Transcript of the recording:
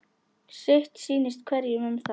Sitt sýnist hverjum um það.